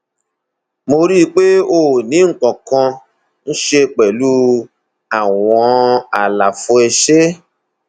mo rí i pé ó ó ní nǹkan kan ṣe pẹlú àwọn àlàfo ẹsẹ